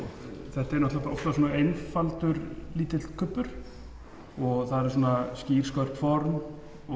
þetta er einfaldur lítill kubbur það eru skýr skörp formaður